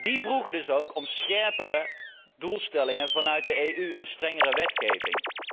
leveren. Die vroegen dus ook om scherpere doelstellingen op EU niveau en strengere